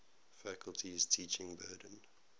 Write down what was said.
faculty's teaching burden